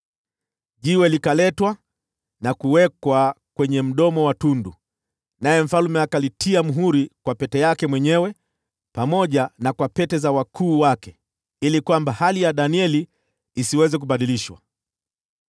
Jiwe likaletwa na kuwekwa kwenye mdomo wa tundu, naye mfalme akalitia muhuri kwa pete yake mwenyewe pamoja na kwa pete za wakuu wake, ili hali ya Danieli isiweze kubadilishwa.